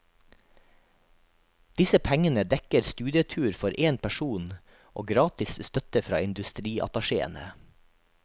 Disse pengene dekker studietur for én person og gratis støtte fra industriattachéene.